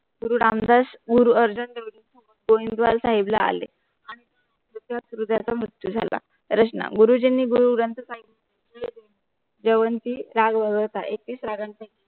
गुरु रामदास पूर अर्जुन देवजीन सोबत गोविंदवाल साहिबला आले आणि त्याच्यात हृदयाचा मृत्यू झाला प्रश्न गुरुजींनी गुरु ग्रंथ साहिब चेवरणजी राग व्हरवत आहे. एकतीस रागांच्या